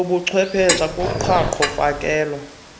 lobuchwepheshe kuqhaqho fakelo